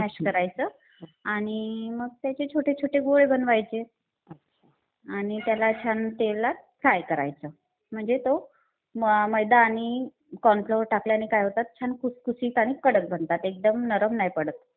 Mash करायचं आणि मग त्याचे छोटे छोटे गोळे बनवायचे आणि त्याला छान तेलात फ्राय करायचं. म्हणजे तो मैदा आणि कॉर्न फ्लोअर टाकल्याने काय होतात. छान खुसखुशीत आणि कडक बनतात. एकदम नरम नाही पडत.